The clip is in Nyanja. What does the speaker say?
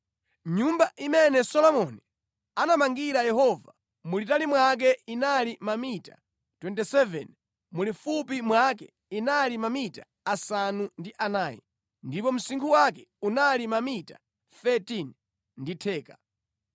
Nyumba imene Solomoni anamangira Yehova mulitali mwake inali mamita 27, mulifupi mwake inali mamita asanu ndi anayi, ndipo msinkhu wake unali mamita 13 ndi theka.